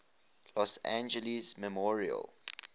los angeles memorial